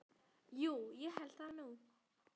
Jú ég held það nú.